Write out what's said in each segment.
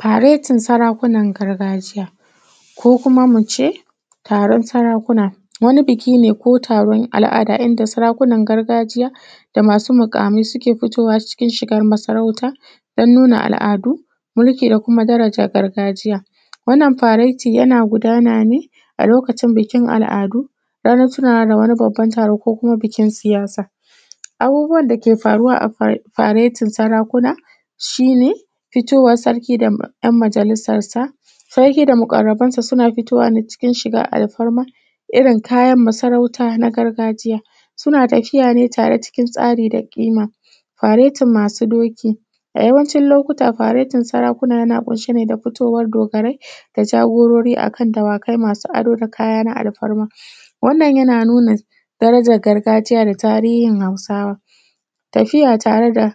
faretin sarakunan gargajiya Ko kuma mu ce taron sarakuna. Wani biki ne ko taron al’ada inda sarakunan gargajiya, da masu muƙamai ke fitowa cikin shigar masarauta, don nuna al’adu mulki da kuma daraja gargajiya. Wannan faretin yana gudana ne a lokacin bikin al’adu, ranan tunawa da wani babban taro ko kuma bikin siyasa. Abubuwan da ke aruwa a fa faretin sarakuna, shi ne fitowan sarki da ‘yan majailisarsa. Sarki da maƙarrabansa suna fitowa ne cikin shigar alfarma, irin kayan masarauta na gargajiya. Suna tafiya ne tare cikin tsari da ƙima. Faretin masu doki, a yawancin lokaci faretin sarakuna yana ƙunshe ne da fitowar dogarai, da jagorori a kan dawakai masu ado da kaya na alfarma. Wannan yana nuna darajan gargajiya da tarihin Hausawa. Tafiya tare da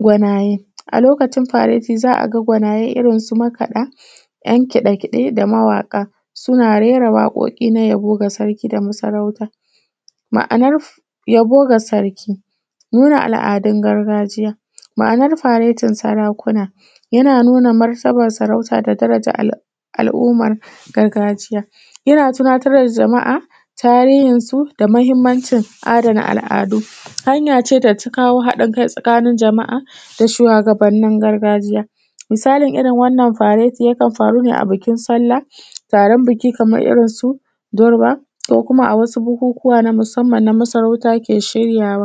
gwanaye, a lokacin faretin za a ga gwanaye irin su makaɗa, ‘'yan kiɗe-kiɗe da mawaƙa, suna rera waƙoƙi na yabo ga sarki da masarauta. Ma’anar yabo ga sarki, nuna al’adun gargajiya ma’anar faretin sarakuna. yana nuna martaban sarauta da daraja al al’umar gargajiya. Yana tunatar da jama’a tarihinsu da muhimmanci adana al’adu, hanya ce da ta kawo haɗin kai a tsakanin al’umma da shuwagabannin gargajiya. Misalin irin wannan faretin yakan faru ne a bikin sallah, taron biki kamar irin su durba ko kuma a wasu bukukuwa na musamman na masarauta ke shiryawa